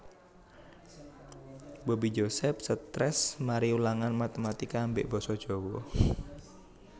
Bobby Joseph stress mari ulangan matematika ambek boso jowo